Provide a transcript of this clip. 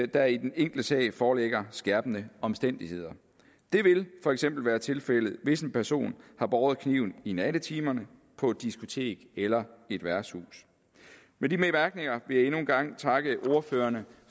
der i den enkelte sag foreligger skærpende omstændigheder det vil for eksempel være tilfældet hvis en person har båret kniven i nattetimerne på et diskotek eller et værtshus med de bemærkninger vil jeg endnu en gang takke ordførerne